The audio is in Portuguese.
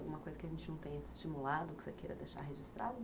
Alguma coisa que a gente não tenha estimulado, que você queira deixar registrado?